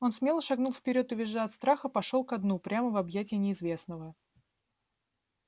он смело шагнул вперёд и визжа от страха пошёл ко дну прямо в объятия неизвестного